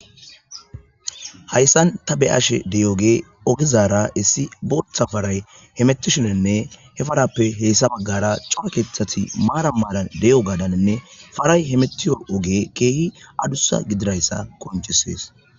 hayssan ta beashe dey7oge ogizaara issi bootha faray hemetishinenne he farappe heessa baggara cora keethati maara maalan de7o gadaninne faray he metiyo oge keehi adussa gidirayssa qoncisees